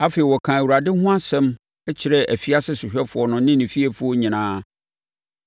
Afei, wɔkaa Awurade ho asɛm kyerɛɛ afiase sohwɛfoɔ no ne ne fiefoɔ nyinaa.